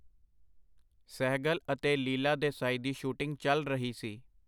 ਸਹਿਗਲ ਅਤੇ ਲੀਲਾ ਦੇਸਾਈ ਦੀ ਸ਼ੂਟਿੰਗ ਚੱਲ ਰਹੀ ਸੀ.